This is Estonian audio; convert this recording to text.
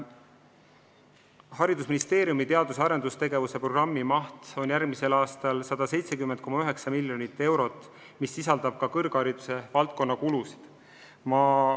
Haridusministeeriumi teadus- ja arendustegevuse programmimaht on järgmisel aastal 170,9 miljonit eurot, milles on ka kõrghariduse valdkonna kulud.